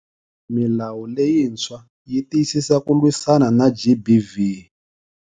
Milawu leyintshwa yi tiyisisa ku lwisana na GBV.